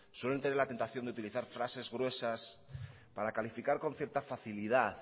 suelen tener la tentación de utilizar frases gruesas para calificar con cierta facilidad